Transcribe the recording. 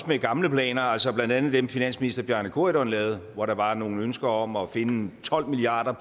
med gamle planer altså blandt andet dem som finansminister bjarne corydon lavede hvor der var nogle ønsker om at finde tolv milliard